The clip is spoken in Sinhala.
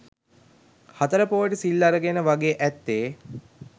හතර පෝයට සිල් අරගෙන වගේ ඇත්තේ